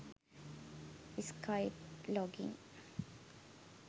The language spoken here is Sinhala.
skype login